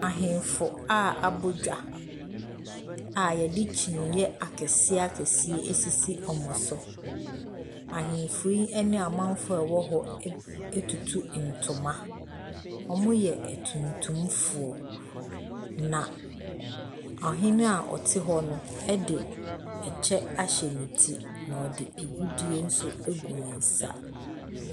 Ahenfo a abɔ dwa a yɛde kyiniiɛ akɛseɛ akɛseɛ esisi wɔn so. Ahenfo yi ne amanfoɔ a ɛwɔ hɔ ɛtutu ntoma. Wɔyɛ atuntumfoɔ na ɔhene a ɔte hɔ no ɛde ɛkyɛ ahyɛ no ti na ɔde agudie ɛnso ɛgu ne nsa.